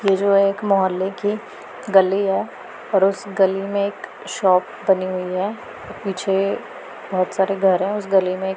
ये जो एक मोहल्ले की गली हैं और उस गली में एक शॉप बनी हुई है पीछे बहोत सारे घर है उस गली में --